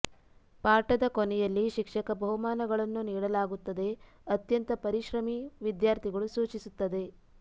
ಪಾಠದ ಕೊನೆಯಲ್ಲಿ ಶಿಕ್ಷಕ ಬಹುಮಾನಗಳನ್ನು ನೀಡಲಾಗುತ್ತದೆ ಅತ್ಯಂತ ಪರಿಶ್ರಮಿ ವಿದ್ಯಾರ್ಥಿಗಳು ಸೂಚಿಸುತ್ತದೆ